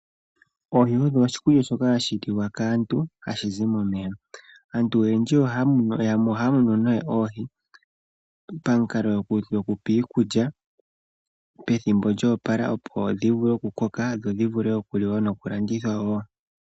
Oohi odho oshikulya shoka hashi liwa kaantu hashi zi momeya. Aantu oyendji ohaya munu oohi pamukalo gwoku dhi pa iikulya pethimbo lya opala opo dhi vule oku koka dho dhi vule okuliwa nokulandithwa wo.